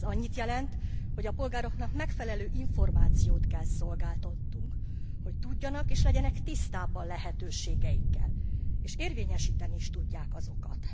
Ez annyit jelent, hogy a polgároknak megfelelő információt kell szolgáltatnunk, hogy tudjanak és legyenek tisztában a lehetőségeikkel, és érvényesíteni is tudják azokat.